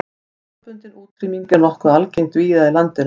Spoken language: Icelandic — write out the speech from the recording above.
Staðbundin útrýming er nokkuð algeng víða í landinu.